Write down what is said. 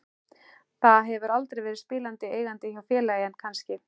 Það hefur aldrei verið spilandi eigandi hjá félagi en kannski?